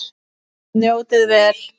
Njótið vel.